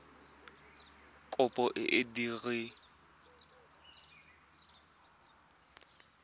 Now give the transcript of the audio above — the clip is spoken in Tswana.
kopo e e diragadiwa ka